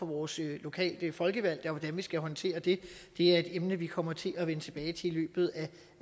vores lokale folkevalgte og hvordan vi skal håndtere det det er et emne vi kommer til at vende tilbage til i løbet af